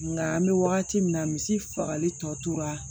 Nka an bɛ wagati min na misi fagali tɔ tora